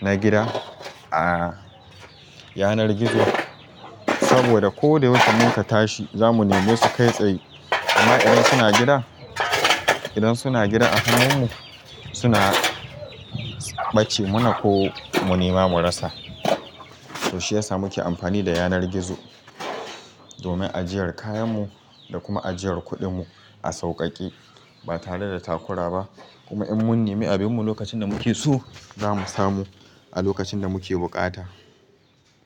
na gida a yanar gizo. Saboda ko da yaushe mun ka tashi za mu nemi su kai tsaye. Amma idan suna gida, idan suna gida a hannun mu suna ɓace mana ko mu nema mu rasa. To shiyasa muke amfani da yanar gizo domin ajiyar kayan mu da kuma ajiyar kuɗin mu a sauƙaƙe ba tare da takura ba. Kuma in mun nemi abin mu lokacin da muke so za mu samu a lokacin da muke buƙata.